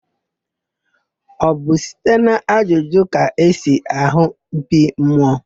Ọ bụ site n'ajụjụ ka esi àhụ́ mkpi mmụọ.